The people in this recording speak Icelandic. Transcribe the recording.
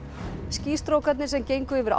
skýstrókarnir sem gengu yfir